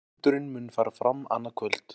Fundurinn mun fara fram annað kvöld